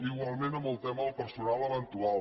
igualment amb el tema del personal eventual